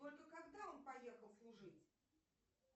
только когда он поехал служить